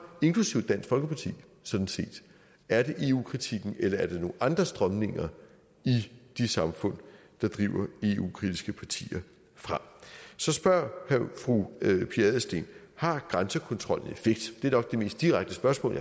inklusive dansk folkeparti sådan set er det eu kritikken eller er det nogle andre strømninger i de samfund der driver eu kritiske partier frem så spørger fru pia adelsteen har grænsekontrollen effekt det er nok det mest direkte spørgsmål